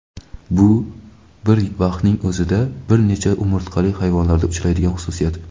Bu bir vaqtning o‘zida bir nechta umurtqali hayvonlarda uchraydigan xususiyat.